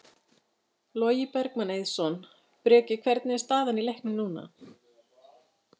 Logi Bergmann Eiðsson: Breki, hvernig er staðan í leiknum núna?